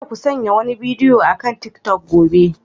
Kada ku sanya wani bidiyo akan tiktok gobe.